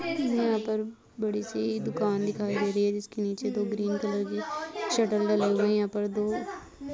ये यहाँ पर बड़ी-सी दुकान दिखाई दे रही है जिसके नीचे दो ग्रीन कलर की शटर डलें हुए है यहां पर दो --